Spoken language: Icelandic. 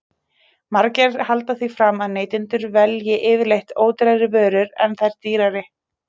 Margir halda því fram að neytendur velji yfirleitt ódýrari vörur en þær dýrari.